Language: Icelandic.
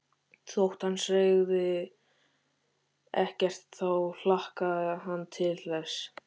Þótt hann segði ekkert þá hlakkaði hann til þess.